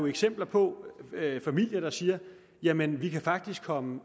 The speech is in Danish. eksempler på familier der siger jamen vi kan faktisk komme